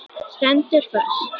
Stendur föst.